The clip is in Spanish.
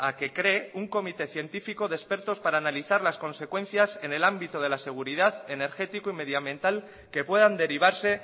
que cree un comité científico de expertos para analizar las consecuencias en el ámbito de la seguridad energético y medioambiental que puedan derivarse